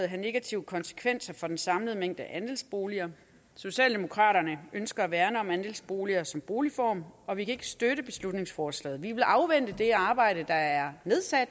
have negative konsekvenser for den samlede mængde af andelsboliger socialdemokraterne ønsker at værne om andelsboligen som boligform og vi kan ikke støtte beslutningsforslaget vi vil afvente det arbejde der er